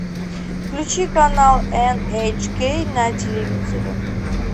включи канал эн эйч кей на телевизоре